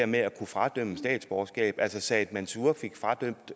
med at kunne fradømme statsborgerskab altså said mansour fik fradømt